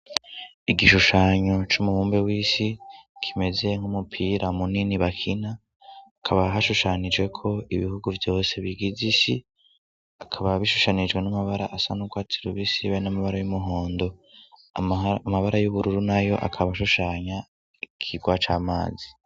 Igishushanyo c'umubumbe w'isi kimeze nk'umupira munini bakina kaba hashushanije ko ibihugu byose bigize isi akaba bishushanijwe n'amabara asanubwatsiribisi be n'amabara y'umuhondo amabara y'ubururu na yo akaba ashushanya kigwaca amazi.